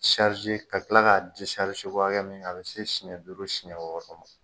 ka kila k'a ko hakɛ min a bi se siɲɛ duuru siɲɛ wɔɔrɔ